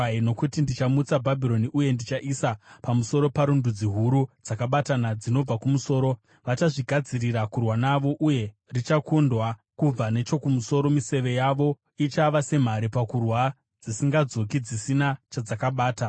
Nokuti ndichamutsa Bhabhironi uye ndichaisa pamusoro paro ndudzi huru dzakabatana dzinobva kumusoro. Vachazvigadzirira kurwa naro, uye richakundwa kubva nechokumusoro. Miseve yavo ichava semhare pakurwa, dzisingadzoki dzisina chadzakabata.